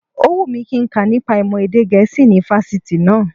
Ó wù mí kí nka nípa ìmọ̀ èdè gẹ̀ẹ́sì ní fásitì náá